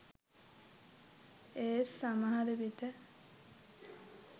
ඒත් සමහර විට